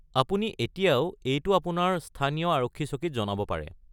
আপুনি এতিয়াও এইটো আপোনাৰ স্থানীয় আৰক্ষী চকীত জনাব পাৰে।